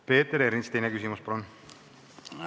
Peeter Ernits, teine küsimus, palun!